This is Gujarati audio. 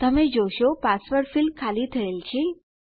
તમે જોશો પાસવર્ડ ફીલ્ડ ખાલી થયેલ છે